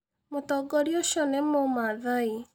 Mũtongoria ũcio nĩ mũmathai.